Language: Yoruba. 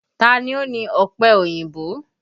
Ta ni ó ní ọpẹ òyìnbó?